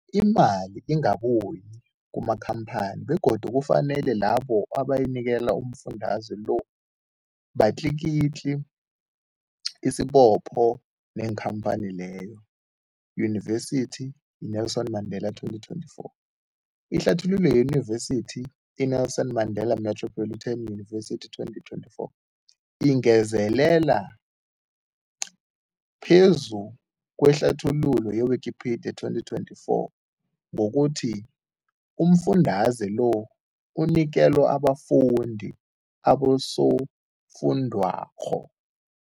Imali ingabuyi kumakhamphani begodu kufanele labo abanikelwa umfundaze lo batlikitliki isibopho neenkhamphani leyo, Yunivesity i-Nelson Mandela 2024. Ihlathululo yeYunivesithi i-Nelson Mandela Metropolitan University, 2024, ingezelele phezu kwehlathululo ye-Wikipedia, 2024, ngokuthi umfundaze lo unikelwa abafundi nabosofundwakgho.